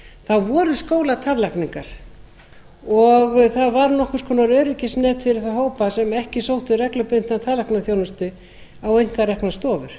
þá voru skólatannlækningar og það var nokkurs konar öryggisnet fyrir þá hópa sem ekki sóttu reglubundna tannlæknaþjónustu á einkareknar stofur